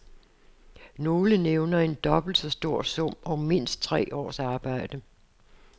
Nogle nævner en dobbelt så stor sum og mindst tre års arbejde.